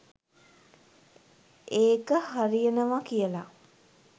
ඒක හරියනවා කියලා.